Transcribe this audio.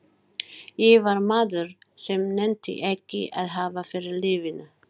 Ég var maður sem nennti ekki að hafa fyrir lífinu.